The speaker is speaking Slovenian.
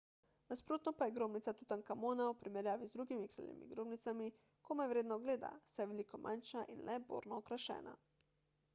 nasprotno pa je grobnica tutankamona v primerjavi z drugimi kraljevimi grobnicami komaj vredna ogleda saj je veliko manjša in le borno okrašena